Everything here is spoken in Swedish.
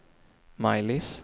Maj-Lis